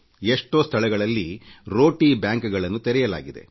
ಎಷ್ಟೋ ಸ್ಥಳಗಳಲ್ಲಿ ರೋಟಿ ಬ್ಯಾಂಕ್ಗಳನ್ನು ತೆರೆಯಲಾಗಿದೆ